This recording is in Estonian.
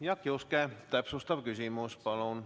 Jaak Juske, täpsustav küsimus, palun!